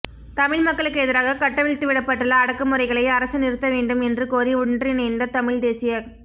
தமிழ் மக்களுக்கு எதிராக கட்டவிழ்த்துவிடப்பட்டுள்ள அடக்குமுறைகளை அரசு நிறுத்தவேண்டும் என்று கோரி ஒன்றிணைந்த தமிழ் தேசியக்